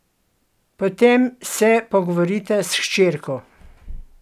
Potem se pogovorita s hčerko.